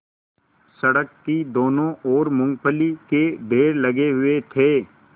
सड़क की दोनों ओर मूँगफली के ढेर लगे हुए थे